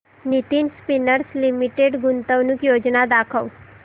Nitin Spinners Limited गुंतवणूक योजना दाखव